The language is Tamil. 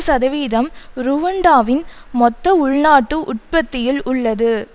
சதவீதம் ருவண்டாவின் மொத்த உள்நாட்டு உற்பத்தியில் உள்ளது